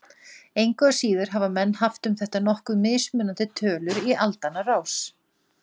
Engu að síður hafa menn haft um þetta nokkuð mismunandi tölur í aldanna rás.